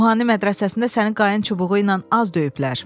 Ruhani mədrəsəsində səni qayın çubuğuynan az döyüblər.